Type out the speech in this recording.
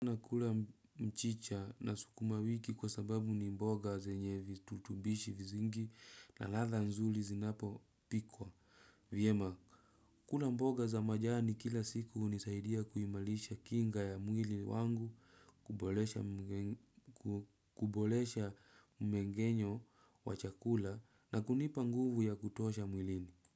Nakula mchicha na sukuma kwa sababu ni mboga zenye virutubisho nyingi na ladha zinapopikwa. Vyema kula mboga za majani kila siku hunisaidia kuimarisha kinga ya mwili wangu kuboresha mmengenyo wa chakula na kunipa nguvu ya kutosha mwilini.